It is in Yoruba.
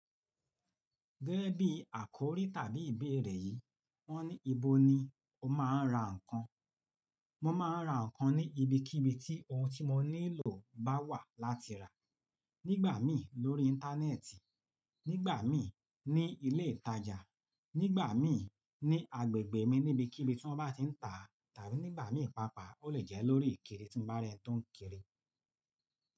Gẹ́gẹ́ bí àkòrí tàbí ìbéèrè yìí, wọ́n ní ibo ni o máa ń ra ǹkan? Mo máa ń ra ǹkan ní ibikíbi tí ohun tí mo nílò bá wà láti rà. Nígbà mí lórí Íńtánẹ́ẹ̀tì, nígbà mí ní ilé ìtajà, nígbà mí ní agbègbè mi níbí kíbi tí wọ́n bá ti ń tà á tàbí nígbà mí pàápàá ó lè jẹ́ lórí ìkiri tí mo bá rí ẹ́ni tó ń kiri.